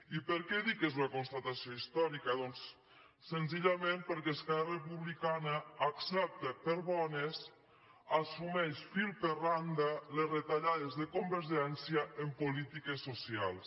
i per què dic que és una constatació històrica doncs senzillament perquè esquerra republicana accepta per bones assumeix fil per randa les retallades de convergència en polítiques socials